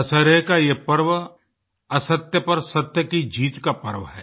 दशहरे का ये पर्व असत्य पर सत्य की जीत का पर्व है